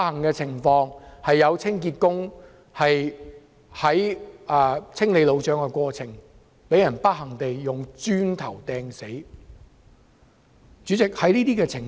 很不幸，有清潔工人在清理路障的過程中，被磚頭擲中而死。